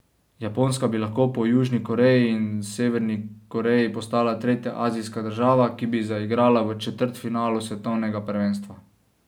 Japonska bi lahko po Južni Koreji in Severni Koreji postala tretja azijska država, ki bi zaigrala v četrtfinalu svetovnega prvenstva.